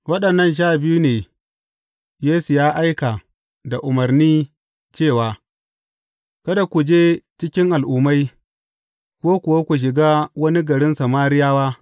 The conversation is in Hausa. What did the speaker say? Waɗannan sha biyun ne Yesu ya aika da umarni cewa, Kada ku je cikin Al’ummai, ko kuwa ku shiga wani garin Samariyawa.